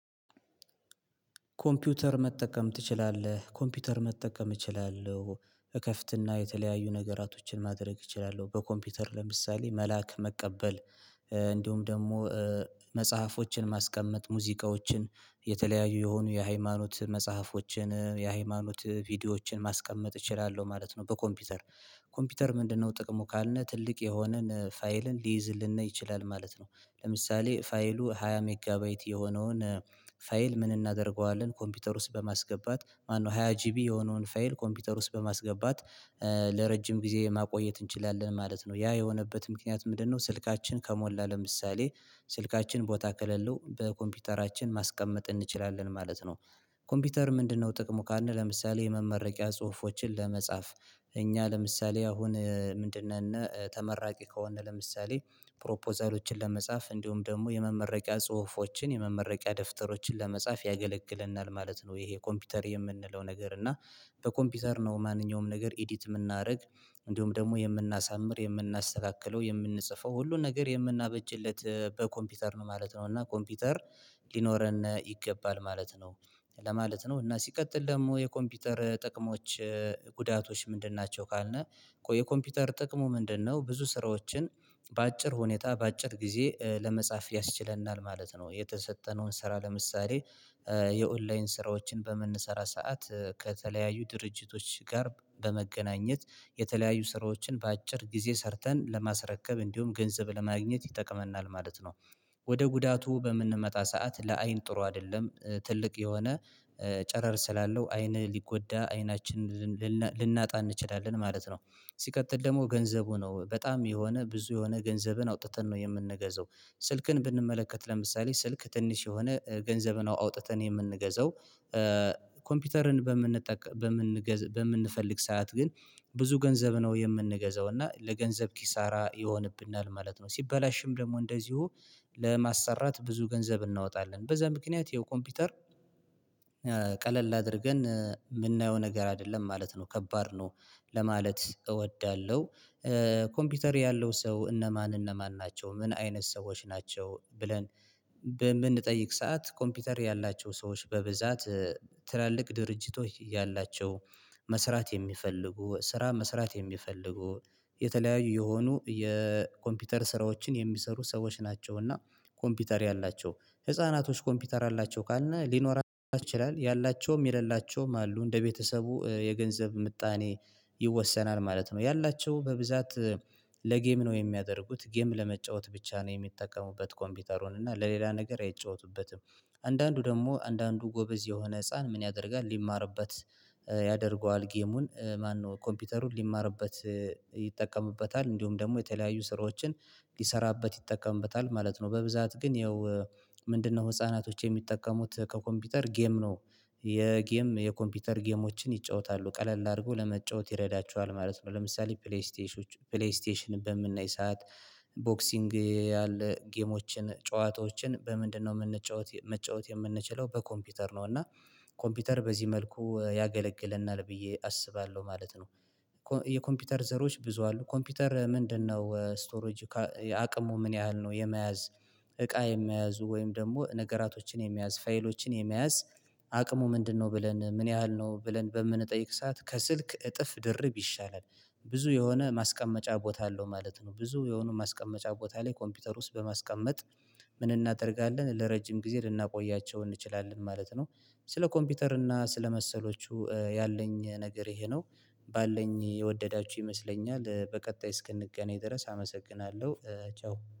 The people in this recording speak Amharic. ኮምፒውተር መጠቀም ትችላለህ? ኮምፒውተር መጠቀም እችላለሁ። እከፍትና የተለያዩ ነገራቶችን ማድረግ እችላለሁ በኮምፒውተር ለምሳሌ መላክ መቀበል። እንዲሁም ደግሞ መጽሐፎችን ማስቀመጥ ሙዚቃዎችን የተለያዩ የሆኑ የሃይማኖት መጽሐፎችን የሃይማኖት ቪዲዮዎችን ማስቀመጥ እችላለሁ ማለት ነው። በኮምፒውተር ኮምፒውተር ምንድነው ጥቅሙ ካልን ትልቅ የሆነን ፋይልን ሊይዝልንና ይችላል ማለት ነው። ለምሳሌ ፋይሉ ሃያ ሜጋባይት የሆነውን ፋይል ምን እናደርገዋለን ኮምፒውተር ውስጥ በማስገባት ማነው ሃያ ጂቢ የሆነውን ፋይል ኮምፒውተር ውስጥ በማስገባት ለረጅም ጊዜ ማቆየት እንችላለን። ማለት ነው ያ የሆነበት ምክንያት ምንድነው? ስልካችን ከሞላ ለምሳሌ ስልካችን ቦታ ከሌለው በኮምፒውተራችን ማስቀመጥ እንችላለን ማለት ነው። ኮምፒውተር ምንድነው ጥቅሙ? ካልን ለምሳሌ የመመረቂያ ጽሁፎችን ለመጻፍ እኛ ለምሳሌ አሁን ምንድነን ተመራቂ ከሆነ ለምሳሌ ፕሮፖዛሎችን ለመጻፍ እንዲሁም ደግሞ የመመረቂያ ጽሁፎችን የመመረቂያ ደፍተሮችን ለመጻፍ ያገለግለናል ማለት ነው። ይሄ ኮምፒውተር የምንለው ነገር እና በኮምፒውተር ነው ማንኛውም ነገር ኤዲት የምናደርግ እንዲሁም ደግሞ የምናሳምር የምናስተካክለው የምንጽፈው ሁሉን ነገር የምናበጅለት በኮምፒውተር ነው ማለት ነው። እና ኮምፒውተር ሊኖረን ይገባል ማለት ነው። ለማለት ነው እና ሲቀጥል ደግሞ የኮምፒውተር ጥቅሞች ጉዳቶች ምንድን ናቸው? ካልነው የኮምፒውተር ጥቅሙ ምንድነው? ብዙ ስራዎችን በአጭር ሁኔታ በአጭር ጊዜ ለመጻፍ ያስችለናል ማለት ነው። የተሰጠነውን ስራ ለምሳሌ የኦንላይን ስራዎችን በመንሰራ ሰዓት ከተለያዩ ድርጅቶች ጋር በመገናኘት የተለያዩ ስራዎችን በአጭር ጊዜ ሰርተን ለማስረከብ እንዲሁም ገንዘብ ለማግኘት ይጠቅመናል ማለት ነው። ወደ ጉዳቱ በምንመጣ ሰዓት ለአይን ጥሩ አይደለም ትልቅ የሆነ ጨረር ስላለው አይንህ ሊጎዳ አይናችንን ልናጣ እንችላለን ማለት ነው። ሲቀጥል ደግሞ ገንዘቡ ነው በጣም የሆነ ብዙ የሆነ ገንዘብን አውጥተን ነው የምንገዛው ስልክን ብንመለከት ለምሳሌ ስልክ ትንሽ የሆነ ገንዘብን አውጥተን የምንገዛው ኮምፒውተርን በምንጠቅ በምንገዛ በምንፈልግ ሰዓት ግን ብዙ ገንዘብ ነው የምንገዛው እና ለገንዘብ ኪሳራ ይሆንብናል ማለት ነው። ሲበላሽም ደግሞ እንደዚሁ ለማሰራት ብዙ ገንዘብ እናወጣለን በዛ ምክንያት የኮምፒውተር ቀለል አድርገን የምናየው ነገር አይደለም ማለት ነው ከባድ ነው። ለማለት እወዳለሁ። ኮምፒውተር ያለው ሰው እነማን እነማን ናቸው ምን አይነት ሰዎች ናቸው? ብለን በምንጠይቅ ሰዓት ኮምፒውተር ያላቸው ሰዎች በብዛት ትላልቅ ድርጅቶች ያላቸው መስራት የሚፈልጉ ስራ መስራት የሚፈልጉ የተለያዩ የሆኑ የኮምፒውተር ስራዎችን የሚሰሩ ሰዎች ናቸውና። ኮምፒውተር ያላቸው ህፃናቶች ኮምፒውተር አላቸው ካልነ ሊኖር ይችላል ያላቸውም የሌላቸውም አሉ እንደ ቤተሰቡ የገንዘብ ምጣኔ ይወሰናል ማለት ነው። ያላቸው በብዛት ለጌም ነው የሚያደርጉት ጌም ለመጫወት ብቻ ነው የሚጠቀሙበት ኮምፒውተሩን እና ለሌላ ነገር አይጫወቱበትም። አንዳንዱ ደግሞ አንዳንዱ ጎበዝ የሆነ ህፃን ምን ያደርጋል? ሊማርበት ያደርገዋል ጌሙን ማነው ኮምፒውተሩን ሊማርበት ይጠቀምበታል። እንዲሁም ደግሞ የተለያዩ ስራዎችን ሊሰራበት ይጠቀምበታል ማለት ነው። በብዛት ግን ያው ምንድነው? ህፃናቶች የሚጠቀሙት ከኮምፒውተር ጌም ነው። የጌም የኮምፒውተር ጌሞችን ይጫወታሉ ቀለል አርጎ ለመጫወት ይረዳቸዋል ማለት ነው። ለምሳሌ ፕሌይ ስቴሽን ፕሌይ ስቴሽን በምናይ ሰዓት ቦክሲንግ ያለ ጌሞችን ጨዋታዎችን በምንድነው የምንጫወት መጫወት የምንችለው በኮምፒውተር ነው። እና ኮምፒውተር በዚህ መልኩ ያገለግለናል ብዬ አስባለሁ ማለት ነው። የኮምፒውተር ዘሮች ብዙ አሉ። ኮምፒውተር ምንድነው ስቶሬጂ አቅሙ ምን ያህል ነው? የመያዝ እቃ የመያዙ ወይም ደግሞ ነገራቶችን የመያዝ ፋይሎችን የመያዙ አቅሙ ምንድነው? ብለን ምን ያህል ነው ብለን በምንጠይቅ ሰዓት ከስልክ እጥፍ ድርብ ይሻላል። ብዙ የሆነ ማስቀመጫ ቦታ አለው ማለት ነው ብዙ የሆነ ማስቀመጫ ቦታ ላይ ኮምፒውተር ውስጥ በማስቀመጥ ምን እናደርጋለን ለረጅም ጊዜ ልናቆያቸው እንችላለን ማለት ነው። ስለ ኮምፒውተር እና ስለ መሰሎቹ ያለኝ ነገር ይሄ ነው። ባለኝ የወደዳችሁ ይመስለኛል በቀጣይ እስክንገናኝ ድረስ አመሰግናለሁ። ቸው